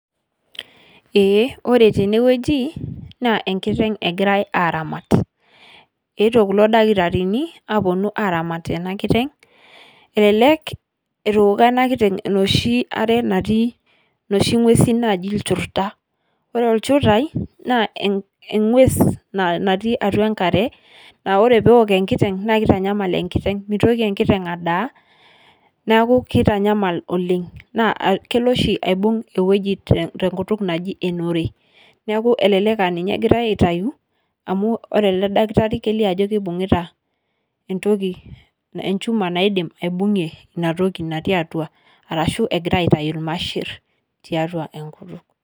Eeh ore tenewueji naa enkiteng' egirai aramaat. Etoo kulo ldaktarini aponuu aramaat ana nkiteng'. Elelek etooko ana nkiteng' noshii aare natii noshii nwuesin najii ilchuuruda ore lchuurai naa ewues natii atua nkaare aa ore pee ook nkiteng' naa keitanyamal nkiteng' meitooki enkiteng' andaa. Naaku keitanyamal oleng naa keiloo sii aibung ewueji te nkutuung najii enoore. Naaku eleleek aa ninyee egirai aitayuu amu ore ele ldaktaari eileoo ajo keibuyitaa entoki elchumaa naidim aibunyee ena ntoki natii atua arashu agira aitei lmaashir te atua enkutuuk.